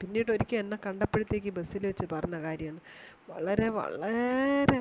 പിന്നീടൊരിക്കൽ എന്നെ കണ്ടപ്പോഴത്തേക്കും ബസ്സിൽ വെച്ചു പറഞ്ഞ കാര്യം വളരെ വളരെ